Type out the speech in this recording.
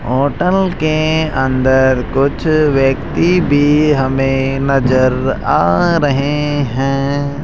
Hotel के अंदर कुछ व्यक्ति भी हमें नजर आ रहे हैं।